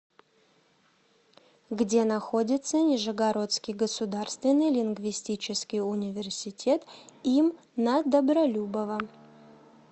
где находится нижегородский государственный лингвистический университет им на добролюбова